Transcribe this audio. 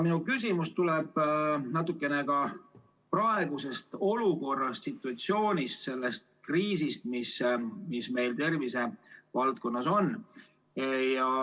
Minu küsimus tuleneb natukene ka praegusest olukorrast, situatsioonist, sellest kriisist, mis meil tervise valdkonnas on.